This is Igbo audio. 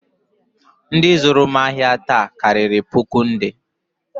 Ndị zụrụ m ahịa taa karịrị puku nde